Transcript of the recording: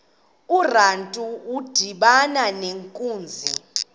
urantu udibana nenkunzi